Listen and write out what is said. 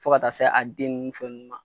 Fo ka taa se a den ni fɛn ninnu ma.